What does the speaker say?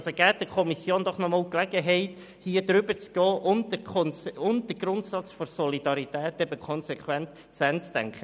Geben Sie der Kommission doch noch einmal die Gelegenheit, darüber zu diskutieren und den Grundsatz der Solidarität konsequent zu Ende zu denken.